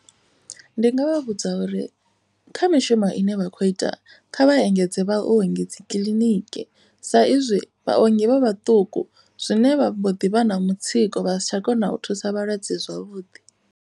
Ndi nga vha vhudza uri kha mishumo ine vha khou ita kha vha engedze vhaongi kiḽiniki. Sa izwi vhaongi vha vhaṱuku zwine vho ḓi vha na mutsiko vha si tsha kona u thusa vhalwadze zwavhuḓi.